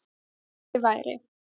Ekki væri